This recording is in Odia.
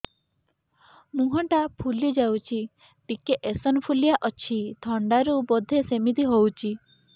ମୁହଁ ଟା ଫୁଲି ଯାଉଛି ଟିକେ ଏଓସିନୋଫିଲିଆ ଅଛି ଥଣ୍ଡା ରୁ ବଧେ ସିମିତି ହଉଚି